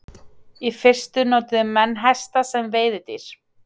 Í fyrstu notuðu menn hesta sem veiðidýr.